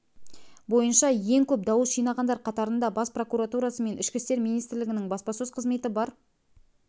бойынша ең көп дауыс жинағандар қатарында бас прокуратурасы мен ішкі істер министрлігінің баспасөз қызметі бар